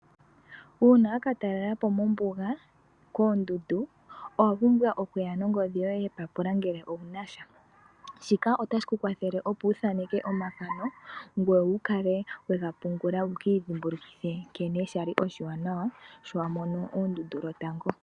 Uuna toka talelapo kombuga, koondundu, owa pumbwa ongodhi yoye yepapula ngele owunasha, shika otashi ku kwathele opo withneke omathano, ngoye wukale wega pungula, wu kiidhimbulukithe nkene shali oshiwanawa shi wamono oondundu lotango.